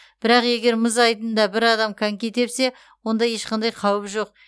бірақ егер мұз айдынында бір адам коньки тепсе онда ешқандай қауіп жоқ